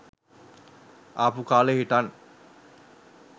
ආපු කාලෙ හිටන්